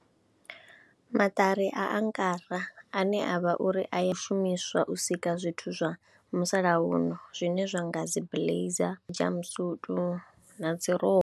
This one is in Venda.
Maṱari a angara ane a vha uri a ya shumiswa u sika zwithu zwa musalauno zwine zwa nga dzi blazer, jumpsuit na dzi rokho.